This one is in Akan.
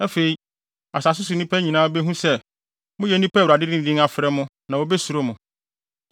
Afei, asase so nnipa nyinaa behu sɛ, moyɛ nnipa a Awurade de ne din afrɛ mo na wobesuro mo.